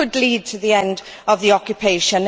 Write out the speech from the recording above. It could lead to the end of the occupation.